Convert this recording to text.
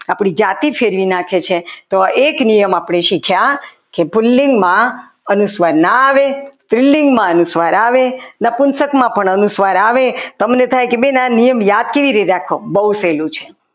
આપણી જાતિ ફેરવી નાખે છે તો એક નિયમ આપણે શીખ્યા કે પુલ્લિંગ માં અનુસ્વાર ન આવે સ્ત્રીલિંગમાં અનુસ્વાર આવે નપુંસકમાં પણ અનુસ્વાર આવે તમે કહો કે બેન આ નિયમ યાદ કેવી રીતે રાખવો બહુ સહેલું છે.